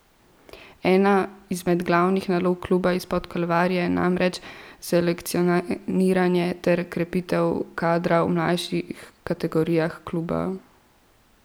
Ena izmed glavnih nalog kluba izpod Kalvarije je namreč selekcioniranje ter krepitev kadra v mlajših kategorijah kluba.